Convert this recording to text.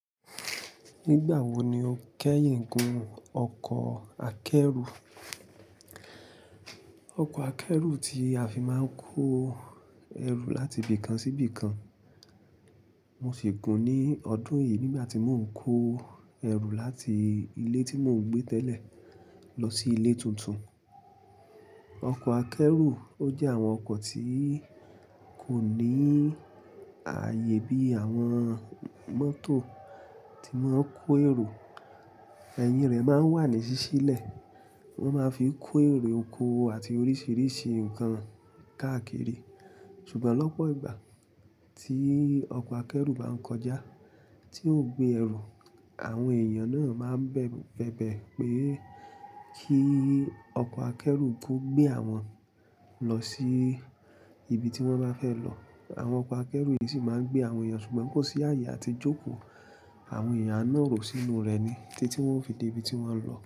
Nígbà wo ni o kẹ́yìn gun ọkọ̀ akẹ́rù? Ọkọ̀ akẹ́rù tí a fi máa ń kó ẹrù láti ibì kan sí ibì kan. Mo sì gun ní ọdún yìí nígbà tí mò ń kó ẹrù láti ilé tí mò ń gbé tẹ́lẹ̀ lọ sí ilé tuntun. Ọkọ̀ akẹ́rù ó jẹ́ àwọn ọkọ̀ tí kò ní ààyè bí àwọn mọ́tò tí wọ́n kó èrò. Ẹ̀yin rẹ̀ máa ń wà ní sísí lẹ̀. Wọ́n máa ń fi kó èrò oko àti oríṣiríṣi nǹkan káàkiri. Ṣùgbọ́n lọ́pọ̀ ìgbà tí ọkọ̀ akẹ́rù bá ń kọjá tí ó gbé ẹrù, àwọn èèyàn náà máa ń bẹ̀bẹ̀ pé kí ọkọ̀ akẹ́rù kó gbé àwọn lọ sí ibi tí wọ́n bá fẹ́ lọ. Àwọn ọkọ̀ akẹ́rù yìí sì máa ń gbé àwọn èèyàn ṣùgbọ́n kò sí ààyè áti jókòó. Àwọn èèyàn a naro sínú rẹ̀ ni títí wọ́n ò fi dé ibi tí wọ́n ń lọ.